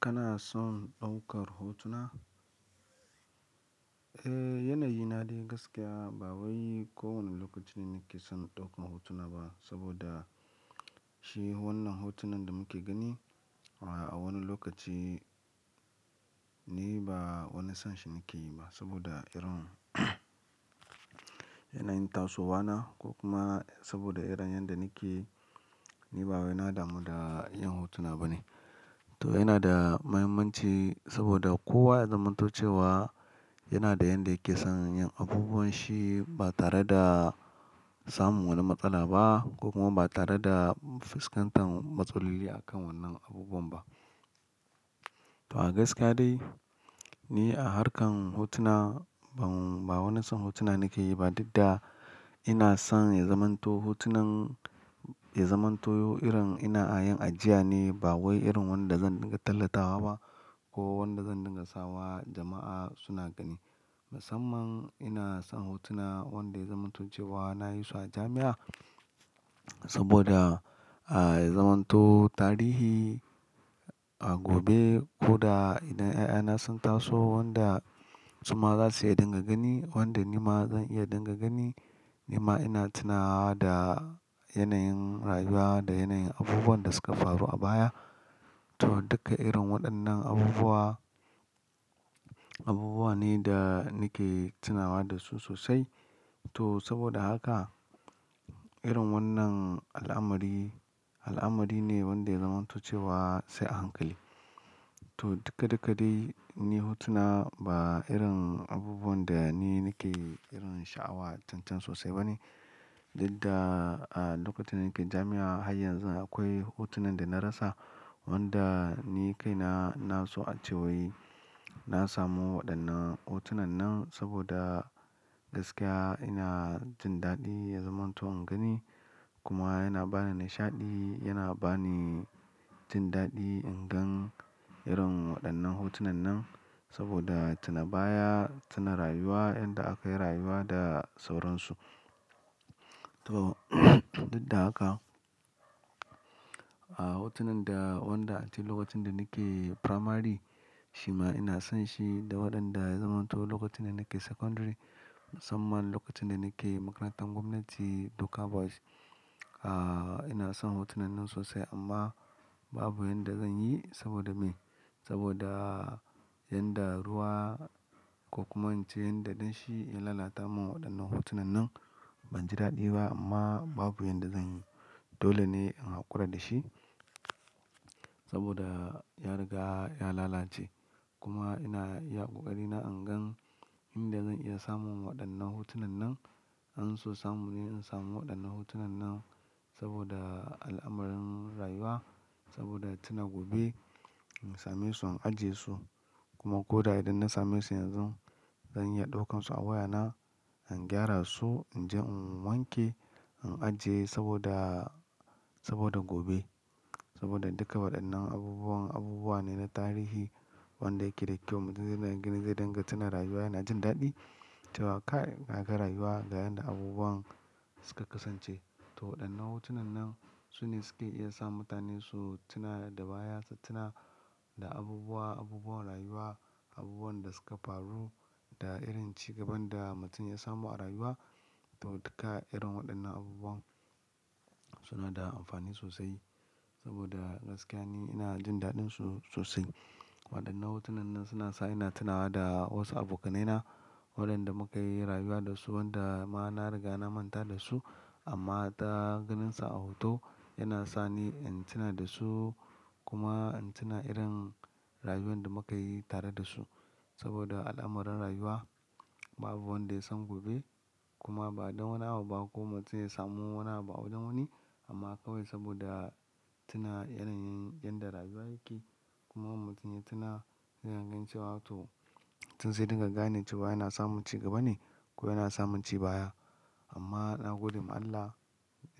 Kana son ɗaukar hotuna? Eh, yanayi na dai gaskiya ba wai ko wani lokaci ne nake son ɗaukan hotuna ba saboda shi wannan hotunan da muke gani a wani lokaci ni ba wani son shi nake yi ba saboda irin yanayin tasowa na ko kuma saboda irin yanda nake ni ba wani na damu da yin hotuna ba ne. Yana da muhimmanci saboda kowa ya zamanto cewa yana da yanda yake son yin abubuwan shi, ba tare da-- samun wani matsala ba ko kuma ba tare da fuskantan matsaloli a kan wannan abubuwan ba. To a gaskara dai ni a harkar hotuna ban ba wani son hotuna nake yi ba, duk da ina son ya zamanto hotunan ya zamanto irin ina yin ajiya ne ba wai irin wanda zan dinga tallatawa ba ko wanda zan dinga sawa jama'a suna gani. Musamman ina son hotuna wanda ya zamanto cewa na yi su a jami'a saboda, ah, ya zamanto tarihi, ah, gobe ko da idan ƴaƴa na son taso wanda suma zasu iya dinga gani, wanda nima zan iya dinga gani kuma ina tunawa da yanayin rayuwa da yanayin abubuwan da suka faru a baya. To duka irin waɗannan abubuwa, abubuwa ne da nake tunawa da su sosai. To saboda haka irin wannan al'amari, al'amari ne wanda ya zamanto cewa sai a hankali. To dikka dikka dai ni hotuna ba irin abubuwan da ni nake irin sha'awa tun tun sosai ba ne. Duk da, ah, lokacin da nake jami'a har yanzu akwai hotunan da na rasa wanda ni kai na, na so a cewai na samu waɗannan hotunan nan saboda gaskiya ina jin daɗi ya zamanto in gani. Kuma yana bani nishaɗi, yana bani jin daɗi in gan irin waɗannan hotunan nan saboda tuna baya, tuna rayuwa yanda akayi rayuwa da sauransu. To duk da haka, ah, hotunan da, wanda a lokacin da nake primary shima ina son shi da waɗanda ya zamanto lokacin da nake secondary. Musamman lokacin da nake makarantar gwamnati Doka Boys, ah, ina son hotunan nan sosai amma babu yanda zan yi saboda me? Saboda yanda ruwa ko kuma in ce yadda danshi ya lalata mun waɗannan hotunan nan banji daɗi ba amma babu yanda zan yi. Dole ne in hakura dashi, saboda ya riga ya lalace. Kuma ina iya ƙoƙari na in gan inda zan iya samun waɗannan hotunan nan. An so samu ni in samu waɗannan hotunan nan saboda al'amarin rayuwa, saboda tuna gobe in same su, in ajiye su kuma ko da idan na same su yanzu zan iya ɗaukansu a wayana, in gyara su, in je in wanke, in ajiye saboda, saboda gobe. Saboda duka waɗannan abubuwan abubuwa ne na tarihi wanda yake da kyau duk wanda ya gani zai dinga tuna rayuwa yana jin daɗi cewa kai, ka ga rayuwa ga yanda abubuwan suka kasance. To waɗannan hotunan nan su ne suke iya sa mutane su tuna da baya, su tuna da abubuwa, abubuwan rayuwa, abubuwan da suka faru da irin cigaban da mutum ya samu a rayuwa. To duka irin waɗannan abubuwan suna da amfani sosai saboda gaskiya ni ina jin daɗin su sosai. Waɗannan hotunan nan suna sa ina tunawa da wasu abokanaina waɗanda muka yi rayuwa da su wanda ma na riga na manta da su amma ta ganinsa a hoto yana sani in tuna da su kuma in tuna irin rayuwan da muka yi tare da su. Saboda al'amarin rayuwa babu wanda ya san gobe kuma ba don wani abu ba ko mutum ya samu wani abu a wani wani amma kawai saboda tuna irin, yanda rayuwa yake kuma mutum ya tuna yana ganin cewa to mutum zai dinga gane cewa yana samun cigaba ne ko yana samun ci baya. Amma na gode ma Allah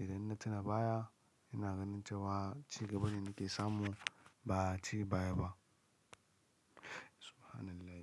idan ina tuna baya ina ganin cewa cigaba ne nake samu ba ci baya ba. Subhanallah.